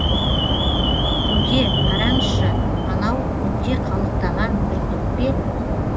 көке қараңызшы анау көкте қалықтаған бүркіт пе